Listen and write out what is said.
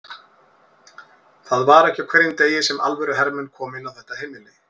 Það var ekki á hverjum degi sem alvöru hermenn komu inn á þetta heimili.